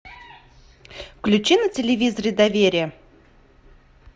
включи на телевизоре доверие